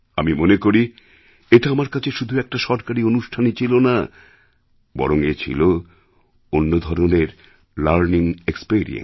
আমি মনে করি এটা আমার কাছে শুধু এক সরকারী অনুষ্ঠানই ছিল না বরং এ ছিল অন্য ধরনের লার্নিং experience